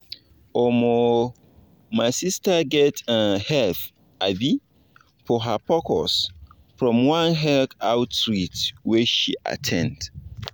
omo my sister get um help um for her pcos from one health outreach wey she at ten d.